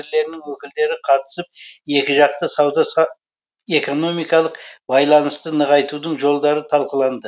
министрлерінің өкілдері қатысып екіжақты сауда экономикалық байланысты нығайтудың жолдарын талқыланды